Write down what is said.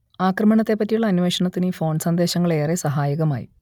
ആക്രമണത്തെപ്പറ്റിയുള്ള അന്വേഷണത്തിന് ഈ ഫോൺ സന്ദേശങ്ങൾ ഏറെ സഹായകമായി